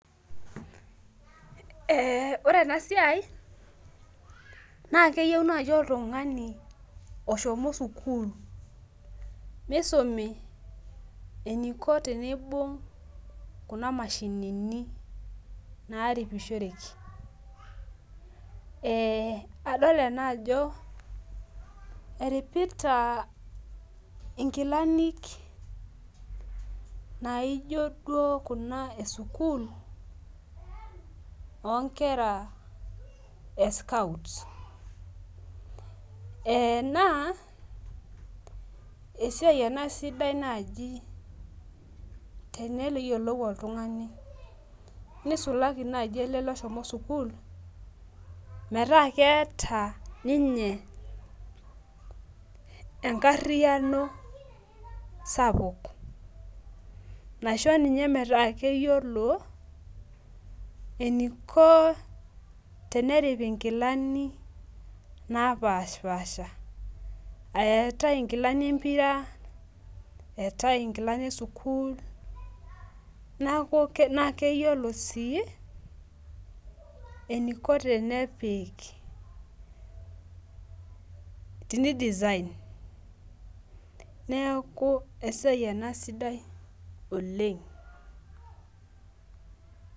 Ore enasiai na keyieu nai oltungani oshomo sukul nisumi eniko tenibungi kuna mashinini naigeri e adol ena ajo eripita nkilanik naijo duo kuna esukul onkera eskout na esiaia ena sidai nai tenegiolou oltungani nisulaki nai ele oshomo sukul meraa keeta ninye enkariano sapuk naisho ninye metaa keyiolo eniko tenerip inkilani napaasha, eetae nkilani empira eetae nkilani esukul na keyiolo si eniko tenepik neaku esiai ena sidai oleng.